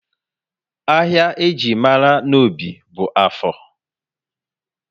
Ahịa eji mara Nnobi bú Áfọr